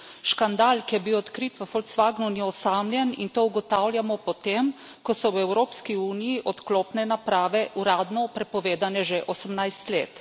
Škandal, ki je bil odkrit v Volkswagnu, ni osamljen, in to ugotavljamo po tem, ko so v Evropski uniji odklopne naprave uradno prepovedane že 18 let.